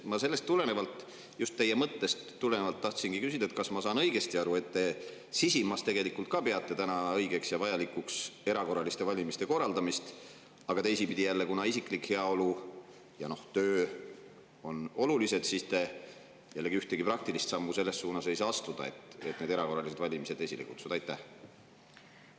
Ma sellest tulenevalt, just teie mõttest tulenevalt, tahtsingi küsida: kas ma saan õigesti aru, et te sisimas tegelikult peate täna õigeks ja vajalikuks erakorraliste valimiste korraldamist, aga teisipidi, kuna isiklik heaolu ja töö on olulised, siis te jällegi ühtegi praktilist sammu selles suunas, et need erakorralised valimised esile kutsuda, astuda ei saa?